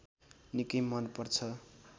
निकै मनपर्छ